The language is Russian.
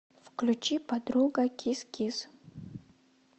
включи подруга кис кис